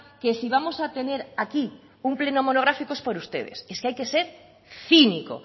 que si vamos a tener aquí un pleno monográfico es por ustedes es que hay que ser cínico